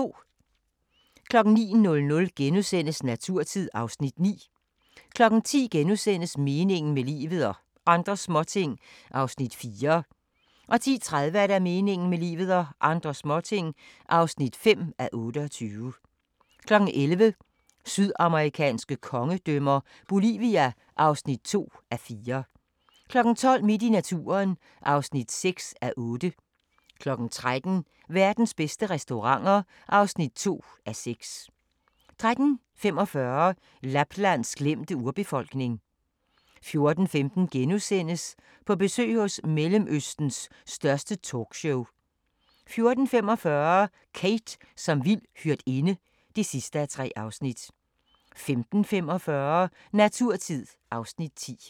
09:00: Naturtid (Afs. 9)* 10:00: Meningen med livet – og andre småting (4:28)* 10:30: Meningen med livet – og andre småting (5:28) 11:00: Sydamerikanske kongedømmer – Bolivia (2:4) 12:00: Midt i naturen (6:8) 13:00: Verdens bedste restauranter (2:6) 13:45: Laplands glemte urbefolkning 14:15: På besøg hos Mellemøstens største talkshow * 14:45: Kate som vild hyrdinde (3:3) 15:45: Naturtid (Afs. 10)